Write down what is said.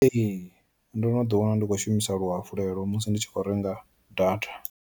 Ee ndono ḓi wana ndi khou shumisa luhafulelo musi ndi tshi khou renga data.